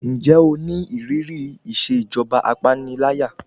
Ǹjẹ́ o ní ìrírí ìṣèjọba apániláyà?